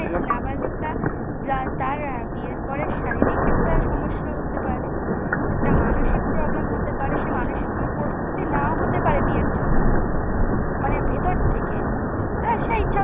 যে নাবালিকা তার আহ বিয়ের পরে শারীরিক একটা সমস্যা হতে পারে একটা মানসিক problem হতে পারে সে মানসিকভাবে প্রস্তুতি নাও হতে পারে বিয়ের জন্য মানে ভেতর থেকে। তা সেই